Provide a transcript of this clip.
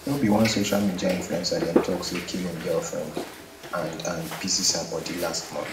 no be one social media influencer dem talk say kill im girlfiend and and pieces her body last month